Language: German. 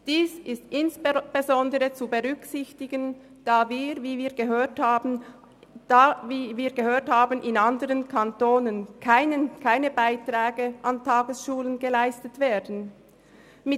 Dies ist insbesondere zu berücksichtigen, da in anderen Kantonen keine Beiträge an Tagesschulen geleistet werden, wie wir gehört haben.